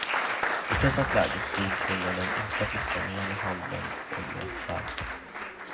I ett pressat läge slog kvinnan den yngsta flickan med ena handen och med ett skärp.